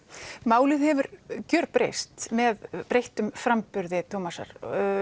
málið hefur gjörbreyst með breyttum framburði Thomasar